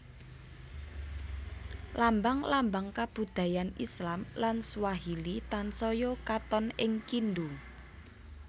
Lambang lambang kabudayan Islam lan Swahili tansaya katon ing Kindu